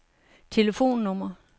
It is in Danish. telefonnummer